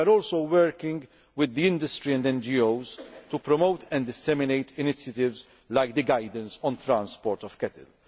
We are also working with the industry and NGOs to promote and disseminate initiatives like the Guidance on transport of cattle'.